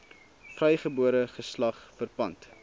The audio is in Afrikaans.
vrygebore geslag verpand